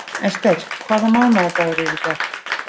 Ester, hvaða mánaðardagur er í dag?